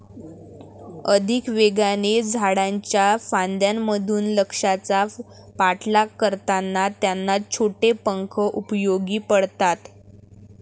अधिक वेगाने, झाडांच्या फांद्यांमधून, लक्ष्याचा पाठलाग करताना त्यांना छोटे पंख उपयोगी पडतात.